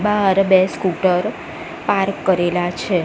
બાર બે scooter park કરેલા છે.